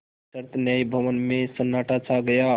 विस्तृत न्याय भवन में सन्नाटा छा गया